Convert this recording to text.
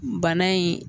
Bana in